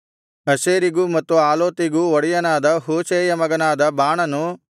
ಅಶೇರಿಗೂ ಮತ್ತು ಆಲೋತಿಗೂ ಒಡೆಯನಾದ ಹೂಷೈಯ ಮಗನಾದ ಬಾಣನು